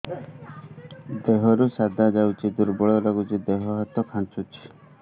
ଦେହରୁ ସାଧା ଯାଉଚି ଦୁର୍ବଳ ଲାଗୁଚି ଦେହ ହାତ ଖାନ୍ଚୁଚି